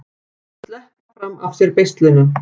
Að sleppa fram af sér beislinu